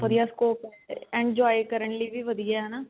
ਵਧੀਆ scope enjoy ਕਰਨ ਲਈ ਵੀ ਵਧੀਆ ਹਨਾ